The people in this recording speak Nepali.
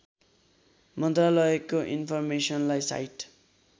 मन्त्रालयको इन्फर्मेसनलाई साइट